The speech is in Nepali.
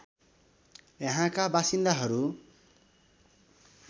यहाँका बासिन्दाहरू